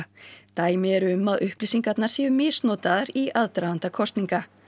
dæmi eru um að upplýsingarnar séu misnotaðar í aðdraganda kosninga